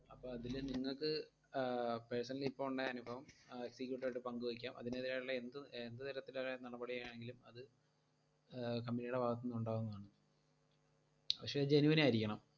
അപ്പൊ അതില് നിങ്ങക്ക് ആഹ് personally ഇപ്പൊ ഉണ്ടായ അനുഭവം ആ executive ഉമായിട്ട് പങ്കുവെക്കാം. അതിനെതിരായുള്ള എന്ത് എന്ത് തരത്തിലുള്ള നടപടിയാണെങ്കിലും അത് company യുടെ ഭാഗത്തുനിന്ന് ഉണ്ടാവുന്നതാണ് പക്ഷെ genuine ആയിരിക്കണം.